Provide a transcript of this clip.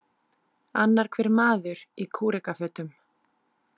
Annar hver maður í kúrekafötum.